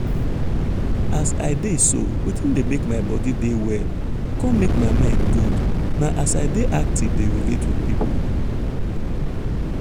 as i dey so wetin dey make my body dey well con make my mind good na as i dey active dey relate with people.